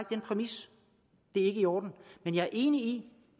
den præmis det er ikke i orden men jeg er enig